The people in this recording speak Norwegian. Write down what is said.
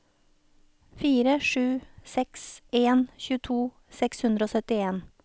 fire sju seks en tjueto seks hundre og syttien